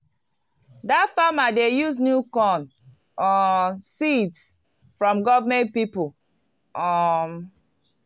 dat farmer dey use new corn um seeds from government people um.